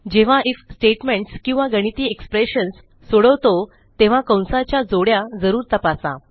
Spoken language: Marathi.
जेव्हा आयएफ स्टेटमेंट्स किंवा गणिती एक्सप्रेशन्स सोडवतो तेव्हा कंसाच्या जोड्या जरूर तपासा